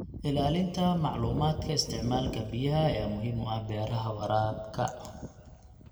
Ilaalinta macluumaadka isticmaalka biyaha ayaa muhiim u ah beeraha waraabka.